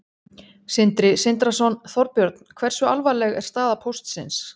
Sindri Sindrason: Þorbjörn, hversu alvarleg er staða Póstsins?